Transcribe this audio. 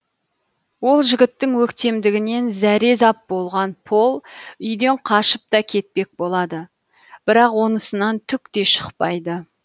ол жігіттің өктемдігінен зәрезап болған пол үйден қашып та кетпек болады бірақ онысынан түк те шықпайды